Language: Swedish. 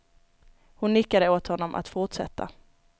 Hon nickade åt honom att fortsätta.